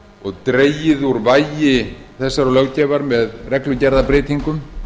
og dregið úr vægi þessarar löggjafar með reglugerðarbreytingum